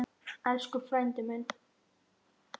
Elsku frændi minn.